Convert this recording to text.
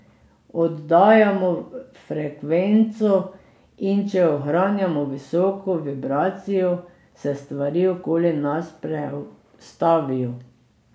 Oddajamo frekvenco, in če ohranjamo visoko vibracijo, se stvari okoli nas prestavijo.